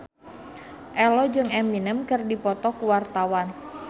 Ello jeung Eminem keur dipoto ku wartawan